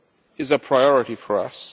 is a priority for us.